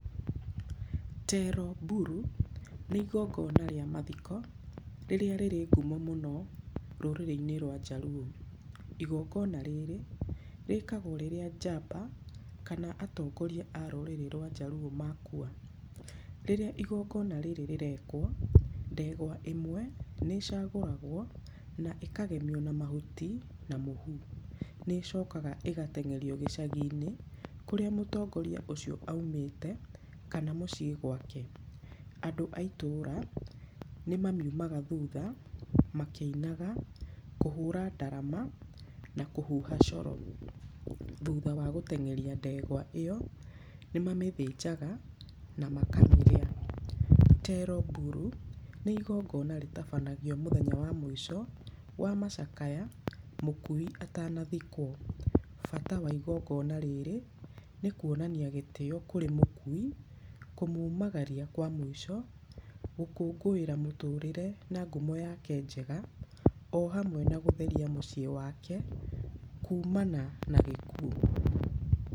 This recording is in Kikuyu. Tero Buru, nĩ igongona rĩa mathiko rĩrĩa rĩrĩ ngumo mũno rũrĩrĩ-inĩ rwa Jaruo. Igongona rĩrĩ rĩkagwo rĩrĩa njamba kana atongoria a rũrĩrĩ rwa Jaruo makua. Rĩrĩa igongona rĩrĩ rĩrekwo, ndegwa ĩmwe nĩ cagũragwo na ĩkagemio na mahuti na mũhu. Nĩ ĩcokaga ĩgateng'erio gĩcagi-inĩ kũrĩa mũtongoria ũcio aumĩte kana mũciĩ gwake. Andũ a itũra nĩ mamiumaga thutha makĩinaga kũhũra ndarama na kũhuha coro. Thutha wa gũteng'eria ndegwa ĩyo, nĩ mamĩthĩnjaga na makamĩrĩa. Tero Buru, nĩ igongona rĩtabanagio mũthenya wa mũico wa macakaya mũkui atanathikwo. Bata wa igongiona rĩrĩ, nĩ kuonania gĩtĩo kũrĩ mũkui, kũmumagaria kwa mũico, gũkũngũĩra mũtũrĩre na ngumo yake njega, o hamwe na gũtheria mũciĩ wake kumana na gĩkuũ.